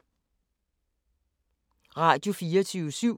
Radio24syv